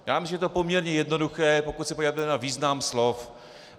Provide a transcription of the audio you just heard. Já myslím, že to je poměrně jednoduché, pokud se podíváte na význam slov.